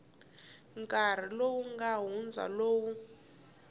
nkarhi lowu nga hundza lowu